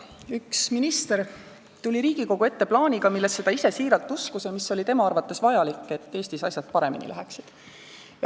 Üks minister tuli Riigikogu ette plaaniga, millesse ta ise siiralt uskus ja mis oli tema arvates vajalik, et Eestis asjad paremini läheksid.